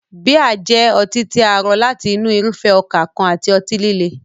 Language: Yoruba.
Bíà jẹ́ ọtí tí a rọ láti inú irúfẹ́ ọkà kan àti ọtí líle.